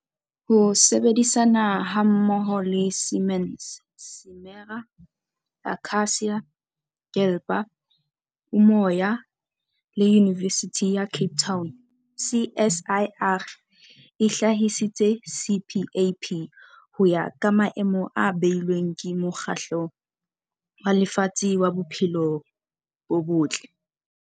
Ka ho sebedisana hammoho le Siemens, Simera, Akacia, Gabler, Umoya le Yunivesithi ya Cape Town, CSIR e hlahisitse CPAP ho ya ka maemo a beilweng ke Mokgatlo wa Lefatshe wa Bophelo bo Botle.